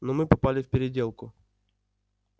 но мы попали в переделку